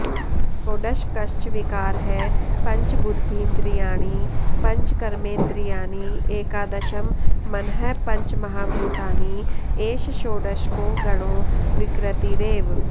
षोडशकश्च विकारः पञ्चबुद्धीन्द्रियाणि पञ्चकर्मेन्द्रियाणि एकादशं मनः पञ्चमहाभूतानि एष षोडशको गणो विकृतिरेव